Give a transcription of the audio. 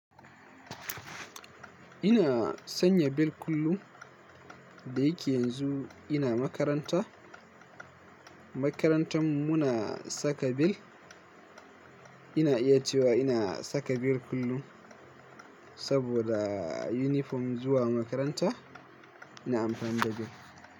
Ina sanya bel kullum da yake yanzu ina makaranta. Makarantar mu muna saka bel. Ina iya cewa ina saka bel kullum saboda yunifom zuwa makaranta ina amfani da bel.